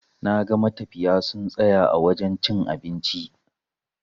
Naga matafiya sun tsaya a wajen cin abinci.